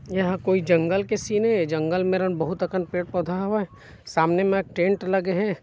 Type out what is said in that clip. एहा कोई जंगल के सिन हे जंगल मेरन बहुत अकन पेड़-पौधा हावय सामने मा टेंट लगे हे।